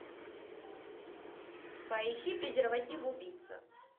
поищи презерватив убийца